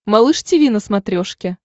малыш тиви на смотрешке